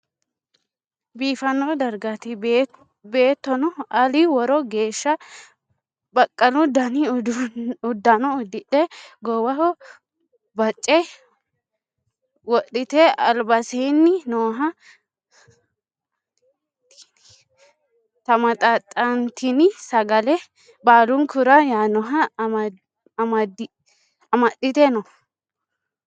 biifano dariggati. beettono Ali worro geeshsha baqqalu danni uddano udidhe gowwaho Baache wodhitte alibbasenni nooha tamaxaxxanitinni sagale baalunikura yaanoha amadhitte noo.